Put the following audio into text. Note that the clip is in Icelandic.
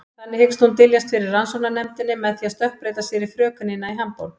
Þannig hyggst hún dyljast fyrir rannsóknarnefndinni með því að stökkbreyta sér í frökenina í Hamborg.